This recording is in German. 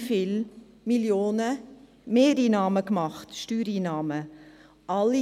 Wir haben viele Millionen an zusätzlichen Steuereinnahmen erhalten.